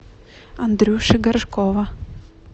андрюши горшкова